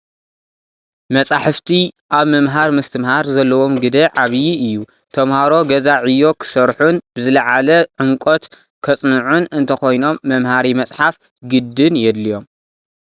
መፃሕፍቲ ኣብ ምምሃር ምስትምሃር ዘለዎም ግደ ዓብዪ እዩ፡፡ ተመሃሮ ገዛ ዕዮ ክሰርሑን ብዝልዓለ ዑምቀት ከፅንዑን እንተኾይኖም መመሃሪ መፅሓፍ ግድን የድልዮም፡፡